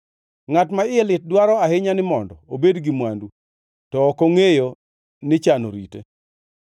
Ngʼat ma iye lit dwaro ahinya ni mondo obed gi mwandu to ok ongʼeyo ni chan orite.